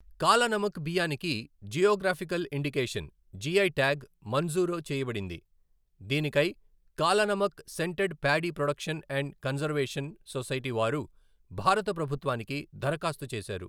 కాలానమక్ బియ్యానికి geographical indication, GI tag మంజూరు చేయబడింది, దీనికై Kalanamak scented paddy production and conservation society వారు భారత ప్రభుత్వానికి దరఖాస్తు చేశారు.